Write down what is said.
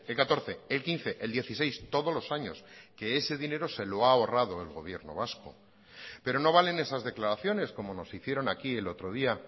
catorce el quince el dieciséis todos los años que ese dinero se lo ha ahorrado el gobierno vasco pero no valen esas declaraciones como nos hicieron aquí el otro día